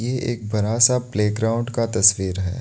एक बरा सा प्लेग्राउंड का तस्वीर है।